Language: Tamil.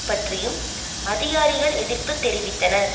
பற்றியும் அதிகாரிகள் எதிர்ப்பு தெரிவித்தனர்